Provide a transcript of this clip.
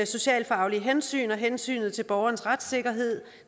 socialfaglige hensyn og hensynet til borgerens retssikkerhed